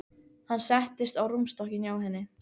Hann settist á rúmstokkinn hjá henni.